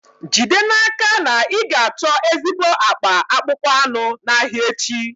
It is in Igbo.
Jide n'aka na ị ga-achọ ezigbo akpa akpụkpọ anụ n'ahịa echi.